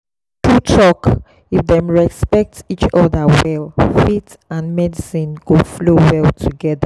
true talk if dem respect each other well faith and medicine go flow well together.